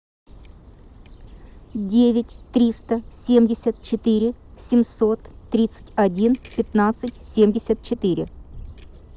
девять триста семьдесят четыре семьсот тридцать один пятнадцать семьдесят четыре